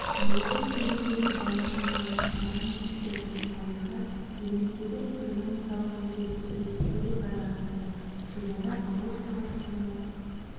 ауылды жерлердегі бала саны аз шағын мектептердің тарихы еліміздегі экономикалық өзгерістерге тікелей байланысты жылдары ауыл шаруашылығына